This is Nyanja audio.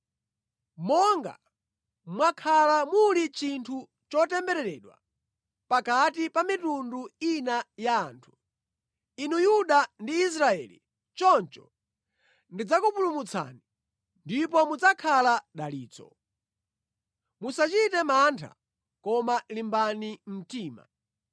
Monga mwakhala muli chinthu chotembereredwa pakati pa mitundu ina ya anthu, inu Yuda ndi Israeli, choncho ndidzakupulumutsani, ndipo mudzakhala dalitso. Musachite mantha, koma limbani mtima.”